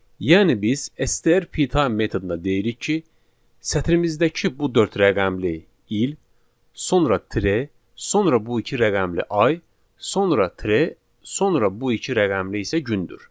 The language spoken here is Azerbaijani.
Yəni biz STR P time metoduna deyirik ki, sətrimizdəki bu dörd rəqəmli il, sonra tire, sonra bu iki rəqəmli ay, sonra tire, sonra bu iki rəqəmli isə gündür.